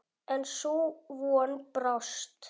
En sú von brást.